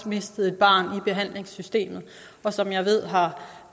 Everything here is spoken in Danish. mistede et barn i behandlingssystemet og som jeg ved har